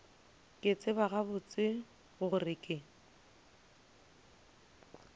ke tseba gabotse gore ke